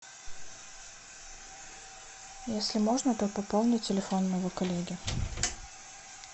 если можно то пополни телефон моего коллеги